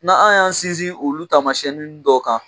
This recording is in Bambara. Na an y'an sinsin olu taamasiɲɛnin dɔw kan